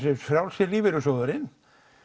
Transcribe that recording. Frjálsi lífeyrissjóðurinn